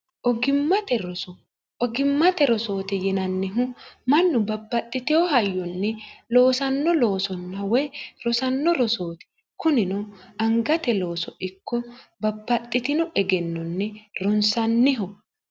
ogimmate rosooti yinannihu mannu babaxxiteho hayyonni loosanno loosonna woy rosanno rosooti kunino angate looso ikko babbaxxitino egennonni ronsanniho